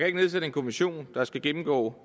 ikke nedsætte en kommission der skal gennemgå